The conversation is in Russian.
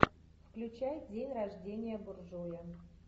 включай день рождения буржуя